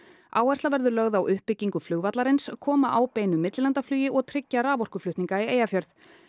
áhersla verður lögð á uppbyggingu flugvallarins koma á beinu millilandaflugi og tryggja raforkuflutninga í Eyjafjörð